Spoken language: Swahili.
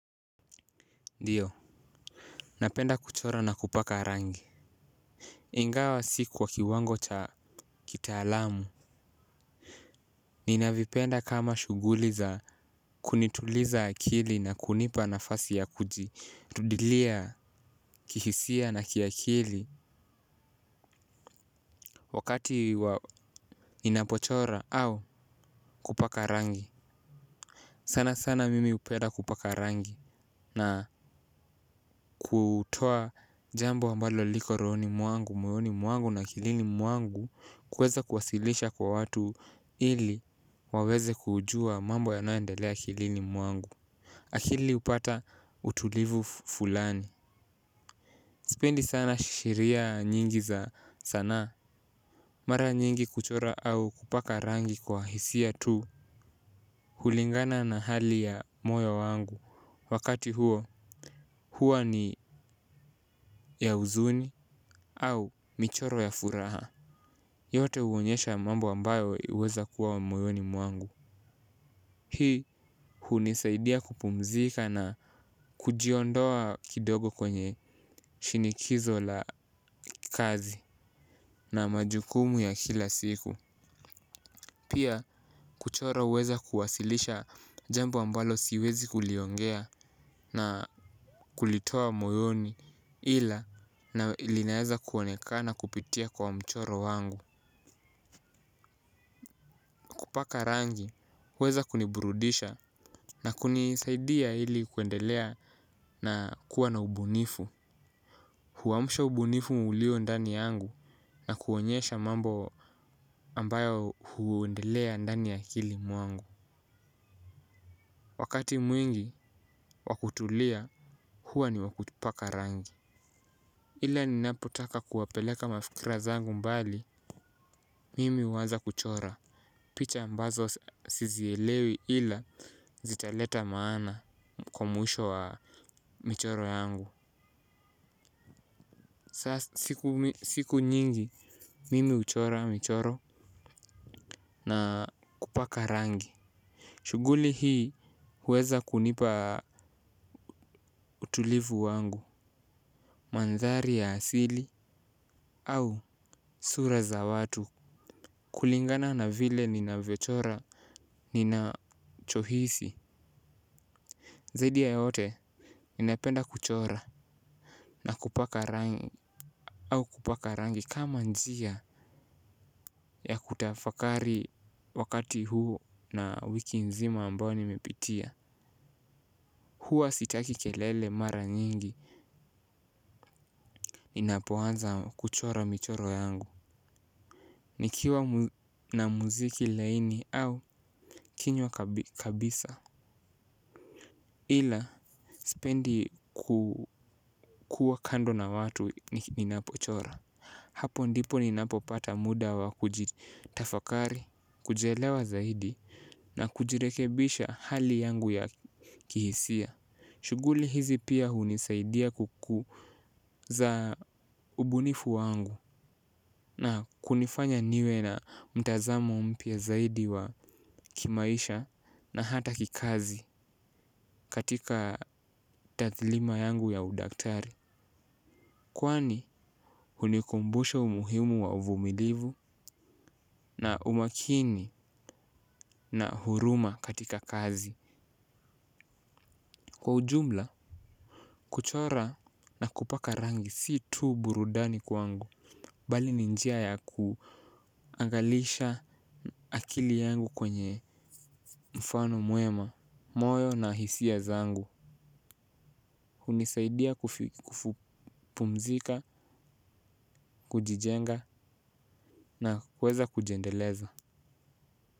Ndiyo. Napenda kuchora na kupaka rangi. Ingawa si kwa kiwango cha kitaalamu. Ninavipenda kama shughuli za kunituliza akili na kunipa nafasi ya kuji tuilia kihisia na kiakili wakati wa ninapochora au kupaka rangi. Sana sana mimi hupenda kupaka rangi na kutoa jambo ambalo liko rohoni mwangu, mwoyoni mwangu na, akilini mwangu na kuweza kuwasilisha kwa watu ili waweze kujua mambo yanayoendelea akilini mwangu. Akili hupata utulivu fulani. Sipendi sana shiera nyingi za sanaa. Mara nyingi kuchora au kupaka rangi kwa hisia tu. Hulingana na hali ya moyo wangu wakati huo. Huwa ni ya huzuni au michoro ya furaha. Yote huonyesha mambo ambayo iliweza kuwa moyoni mwangu. Hii hunisaidia kupumzika na kujiondoa kidogo kwenye shinikizo la kazi na majukumu ya kila siku. Pia kuchoro huweza kuwasilisha jambo ambalo siwezi kuliongea na kulitoa moyoni ila na linaweza kuonekana kupitia kwa mchoro wangu. Kupaka rangi huweza kuniburudisha na kunisaidia ili kuendelea na kuwa na ubunifu. Huamsha ubunifu ulio ndani yangu na kuonyesha mambo ambayo huendelea ndani ya akili mwangu. Wakati mwingi wakutulia huwa ni wakupaka rangi. Ila ninapo taka kuwapeleka mafikira zangu mbali mimi huanza kuchora picha ambazo sizielewi ila zitaleta maana. Kwa mwisho wa michoro yangu. Sasa siku nyingi mimi huchora michoro na kupaka rangi. Shughuli hii huweza kunipa utulivu wangu. Mandhari ya asili au sura za watu kulingana na vile ninavyochora ninacho hisi. Zaidi ya yote ninapenda kuchora na kupaka rangi au kupaka rangi kama njia ya kutafakari wakati huu na wiki nzima ambayo nimepitia huwa sitaki kelele mara nyingi ninapoanza kuchora michoro yangu. Nikiwa na muziki laini au kinywa kabisa ila sipendi kukuwa kando na watu ninapochora hapo ndipo ninapopata muda wa kujitafakari, kujielewa na kujirekebisha hali yangu ya kihisia. Shughuli hizi pia hunisaidia kukuza ubunifu wangu na kunifanya niwe na mtazamo mpya zaidi wa kimaisha na hata kikazi katika tathlima yangu ya udaktari. Kwani hunikumbusha umuhimu wa uvumilivu na umakini na huruma katika kazi kwa ujumla kuchora na kupaka rangi si tu burudani kwangu bali ni njia yakuangalisha akili yangu kwenye mfano mwema. Moyo na hisia zangu hunisaidia kupumzika, kujijenga na kuweza kujiendeleza.